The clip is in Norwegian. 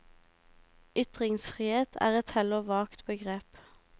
Ytringsfrihet er et heller vagt begrep.